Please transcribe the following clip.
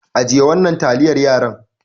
Ajiye wannan taliyar yaran.